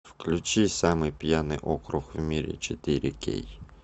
включи самый пьяный округ в мире четыре кей